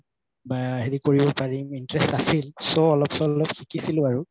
বা হেৰি কৰিব পাৰিম interest আছিল so অলপ চলপ শিকিছিলো আৰু